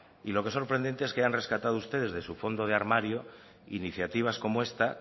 y lo que es sorprendente es que hayan rescatado ustedes de su fondo de armario iniciativas como esta